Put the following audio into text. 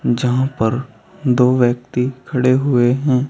जहां पर दो व्यक्ति खड़े हुए हैं।